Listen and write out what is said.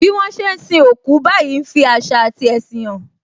Bí wọn ṣe ń sin òkú báyìí ń fi àṣà ati ẹṣin hàn